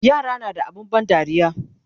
yara na da abun ban dariya